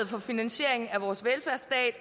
for finansieringen af vores velfærdsstat